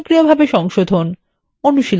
অনুশীলনী